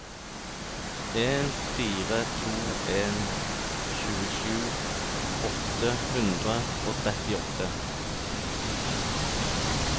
en fire to en tjuesju åtte hundre og trettiåtte